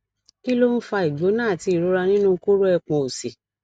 kí ló ń fa igbona àti ìrora nínú koro epon òsì